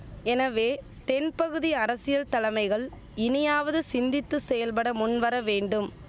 எனவே தென்பகுதி அரசியல் தலமைகள் இனியாவது சிந்தித்து செயல்பட முன்வர வேண்டும்